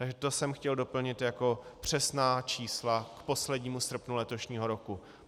Takže to jsem chtěl doplnit jako přesná čísla k poslednímu srpnu letošního roku.